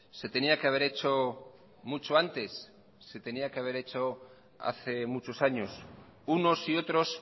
se tenía que haber hecho mucho antes se tenía que haber hecho hace muchos años unos y otros